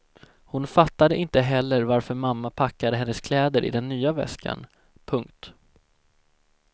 Hon fattade inte heller varför mamma packade hennes kläder i den nya väskan. punkt